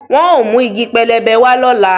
Wọn óò mú igi pẹlẹbẹ wá lọ́la